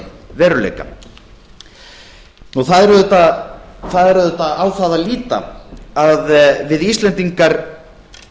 veruleika það er auðvitað á það að líta að við íslendingar